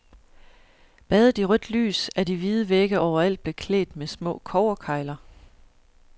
Badet i rødt lys er de hvide vægge overalt beklædt med små kobberkegler.